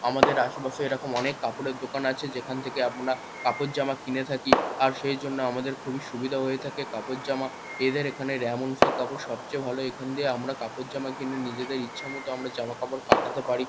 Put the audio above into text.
আমাদের আশেপাশে এরকম অনেক কাপড়ের দোকান আছে। যেখান থেকে আমরা কাপড় জামা কিনে থাকি। আর সেই জন্য আমাদের খুবই সুবিধা হয়ে থাকে। কাপড় জামা এদের এখানে রেয়ামন্ডস -এর কাপড় সবচেয়ে ভালো। এখান দিয়ে আমরা কাপড় জামা কিনে নিজেদের ইচ্ছে মতো আমরা জামা-কাপড় কাটাতে পারি।